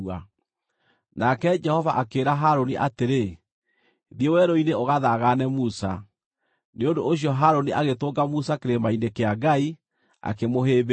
Nake Jehova akĩĩra Harũni atĩrĩ, “Thiĩ werũ-inĩ ũgathaagane Musa.” Nĩ ũndũ ũcio Harũni agĩtũnga Musa kĩrĩma-inĩ kĩa Ngai, akĩmũhĩmbĩria.